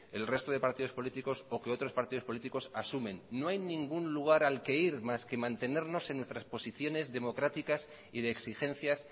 el resto de partidos políticos o que otros partidos políticos asumen no hay ningún lugar al que ir más que mantenernos en nuestras posiciones democráticas y de exigencias